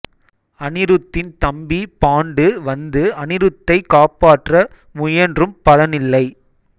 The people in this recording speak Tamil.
அனிருத்தின் தம்பி பாண்டு வந்து அனிருத்தை காப்பாற்ற முயன்றும் பலனில்லை